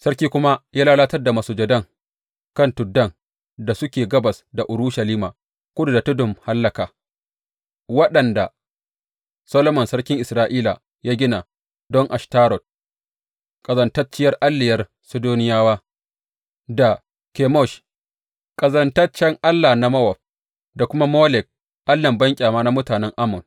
Sarkin kuma ya lalatar da masujadan kan tuddan da suke gabas da Urushalima, kudu da Tudun Hallaka, waɗanda Solomon sarkin Isra’ila ya gina don Ashtarot, ƙazantacciyar alliyar Sidoniyawa, da Kemosh ƙazantaccen allah na Mowab, da kuma Molek allahn banƙyama na mutanen Ammon.